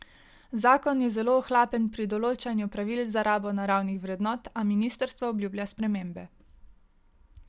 Zakon je zelo ohlapen pri določanju pravil za rabo naravnih vrednot, a ministrstvo obljublja spremembe.